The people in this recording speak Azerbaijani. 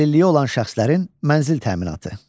Əlilliyi olan şəxslərin mənzil təminatı.